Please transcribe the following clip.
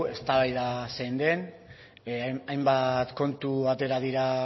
eztabaida zein den hainbat kontu atera dira